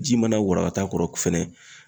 Ji mana warakata kɔrɔ fɛnɛ